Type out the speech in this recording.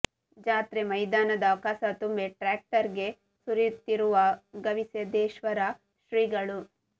ಜಾತ್ರೆ ಮೈದಾನದ ಕಸ ತುಂಬಿ ಟ್ರ್ಯಾಕ್ಟರ್ ಗೆ ಸುರಿಯುತ್ತಿರುವ ಗವಿಸಿದ್ದೇಶ್ವರ ಶ್ರೀಗಳು